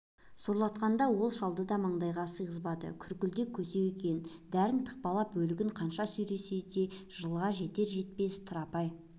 сорлатқанда ол шалды да маңдайға сиғызбады күркілдек көсеу екен дәрін тықпалап өлігін қанша сүйресе де жылға жетер-жетпесте тырапай